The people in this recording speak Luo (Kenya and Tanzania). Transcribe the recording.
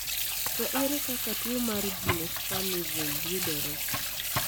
To ere kaka tuo mar Geniospasm yudore.?